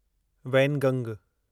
वैनगंग